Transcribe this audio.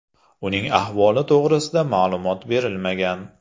Uning ahvoli to‘g‘risida ma’lumot berilmagan.